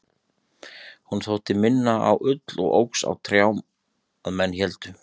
hún þótti minna á ull og óx á trjám að menn héldu